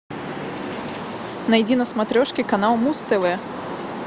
найди на смотрешке канал муз тв